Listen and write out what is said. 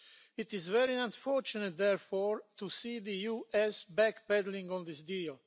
It is very unfortunate, therefore, to see the US backpedalling on this deal.